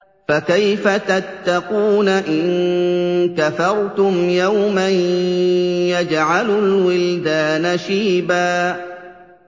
فَكَيْفَ تَتَّقُونَ إِن كَفَرْتُمْ يَوْمًا يَجْعَلُ الْوِلْدَانَ شِيبًا